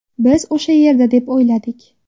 Biz o‘sha yerda deb o‘yladik.